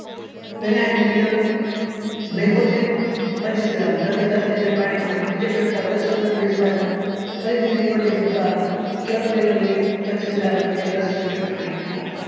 mancozeb પચીસ gram પ્રતિ દસ liter એ ત્રીજો છડ્કાવ દસ પંદર દિવસ બાદ ફરીથી મેન્કોજેબ અથવા પચીસ ગ્રામ પ્રતિ દસ ગ્રામ પ્રતિ દસ liter એ પાણી માં આપવું